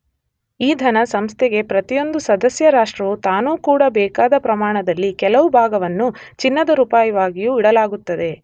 ಈ ಧನ ಸಂಸ್ಥೆಗೆ ಪ್ರತಿಯೊಂದು ಸದಸ್ಯ ರಾಷ್ಟ್ರವೂ ತಾನು ಕೊಡಬೇಕಾದ ಪ್ರಮಾಣದಲ್ಲಿ ಕೆಲವು ಭಾಗವನ್ನು ಚಿನ್ನದ ರೂಪವಾಗಿಯೂ ಇಡಲಾಗುತ್ತದೆ